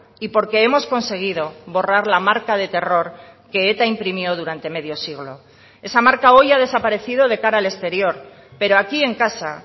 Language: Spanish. y porque hemos conseguido borrar la marca de terror que eta imprimió durante medio siglo esa marca hoy ha desaparecido de cara al exterior pero aquí en casa